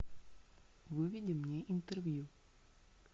выведи мне интервью